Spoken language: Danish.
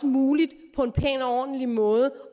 muligt på en pæn og ordentlig måde